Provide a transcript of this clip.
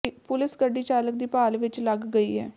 police ਗੱਡੀ ਚਾਲਕ ਦੀ ਭਾਲ ਵਿੱਚ ਲੱਗ ਗਈ ਹੈ